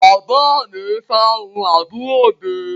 Bàbá mi fárun àbúrò mi.